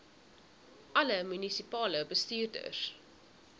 alle munisipale bestuurders